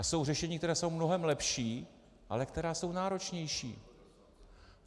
A jsou řešení, která jsou mnohem lepší, ale která jsou náročnější.